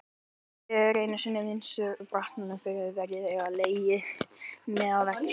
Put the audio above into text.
En einu sinni munaði minnstu að baráttan fyrir friði legði mig að velli.